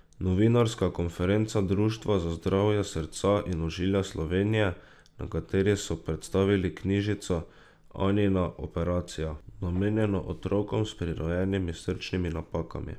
Novinarska konferenca Društva za zdravje srca in ožilja Slovenije, na kateri so predstavili knjižico Anina operacija, namenjeno otrokom s prirojenimi srčnimi napakami.